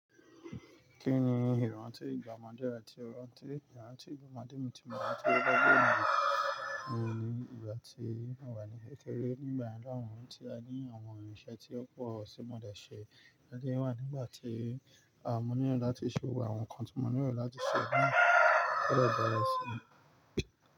Kí ni ìrántí ìgbà omọ́dẹ̀ re tí o rántí? Ìrántí ìgbà omọ́dẹ̀ mi ti mọ̀ọ́ ranti ohun ni ìgbà tí a wà ní èkéré nígbà lohun tí a ní àwọn irinṣẹ́ tí ó pọ̀ tí mo dà ṣe. A lè wà nígbà tí a mú níyàn láti ṣe wà àwọn nǹkan tí mo nílò láti ṣe náà kò lè bẹ̀rẹ̀ sí.